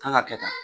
Kan ka kɛ tan